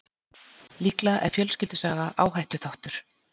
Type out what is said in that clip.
Líklega er fjölskyldusaga áhættuþáttur.